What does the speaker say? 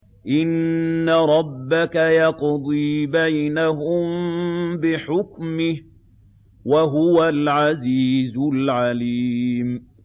إِنَّ رَبَّكَ يَقْضِي بَيْنَهُم بِحُكْمِهِ ۚ وَهُوَ الْعَزِيزُ الْعَلِيمُ